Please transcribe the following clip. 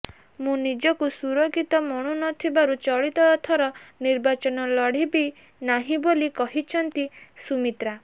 ମୁଁ ନିଜକୁ ସୁରକ୍ଷିତ ମଣୁନଥିବାରୁ ଚଳିତ ଥର ନିର୍ବାଚନ ଲଢିବି ନାହିଁ ବୋଲି କହିଛନ୍ତି ସୁମିତ୍ରା